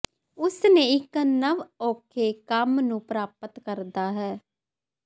ਉਸ ਨੇ ਇੱਕ ਨਵ ਔਖੇ ਕੰਮ ਨੂੰ ਪ੍ਰਾਪਤ ਕਰਦਾ ਹੈ